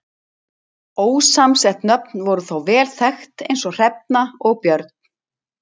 Ósamsett nöfn voru þó vel þekkt eins og Hrefna og Björn.